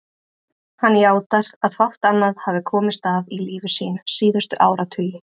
Hann játar að fátt annað hafi komist að í lífi sínu síðustu áratugi.